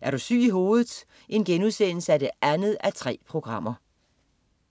Er du syg i hovedet 2:3*